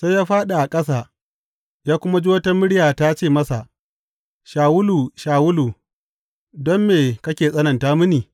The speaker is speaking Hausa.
Sai ya fāɗi a ƙasa ya kuma ji wata murya ta ce masa, Shawulu, Shawulu, don me kake tsananta mini?